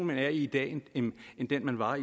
man er i i dag end den man var